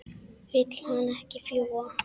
Vill hann ekki fljúga?